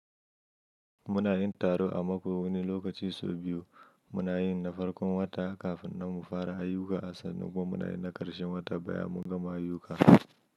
Muna yin taro a mako wani lokaci so biyu. Muna yin na farkon wata kafin nan mu fara ayyuka, asan nan kuma muna yin na ƙarshen wata bayan mun gama ayyuka.